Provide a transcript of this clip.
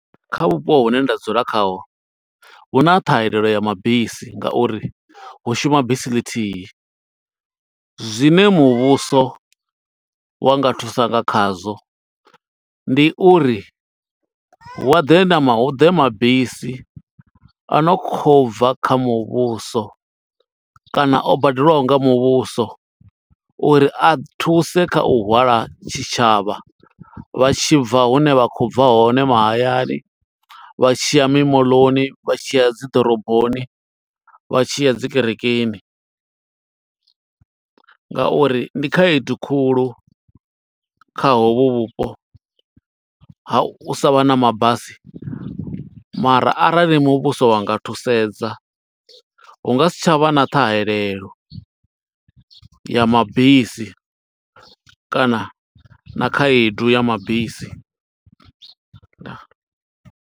Kha vhupo hune nda dzula khaho, hu na ṱhahelelo ya mabisi nga uri hu shuma bisi ḽithihi. Zwine muvhuso wa nga thusa nga khazwo, ndi uri hu a ḓe na ma, hu ḓe mabisi o no khou bva kha muvhuso, kana o badelwaho nga muvhuso. Uri a thuse kha u hwala tshitshavha vha tshi bva hune vha kho bva hone, mahayani, vha tshiya mimoḽoni, vha tshiya dzi ḓoroboni, vha tshiya dzi kerekeni. Ngauri ndi khaedu khulu kha hovhu vhupo ha u savha na mabasi, mara arali muvhuso wa nga thusedza hu nga si tsha vha na ṱhahelelo ya mabisi, kana na khaedu ya mabisi. Ndaa.